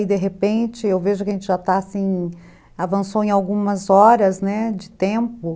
E, de repente, eu vejo que a gente já está, assim, avançou em algumas horas, né, de tempo.